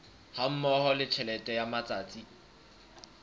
hammoho le tjhelete ya matsatsi